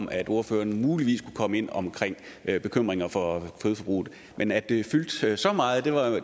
om at ordføreren muligvis kunne komme ind omkring bekymringer for kødforbruget men at det fyldte så meget